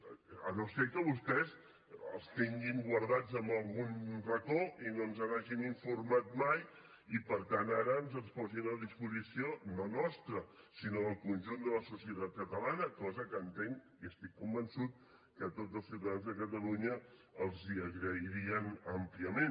si no és que vostès els tenen guardats en algun racó i no ens n’hagin informat mai i per tant ara ens els posin a disposició no nostra sinó del conjunt de la societat catalana cosa que entenc i estic convençut que tots els ciutadans de catalunya els agrairien àmpliament